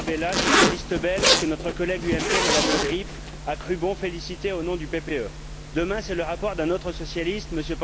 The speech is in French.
Tarabella, socialiste belge que notre collègue UMP, Mme Le Grip, a cru bon de féliciter au nom du groupe PPE. Demain, c'est le rapport d'un autre socialiste, M.